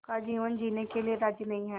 का जीवन जीने के लिए राज़ी नहीं हैं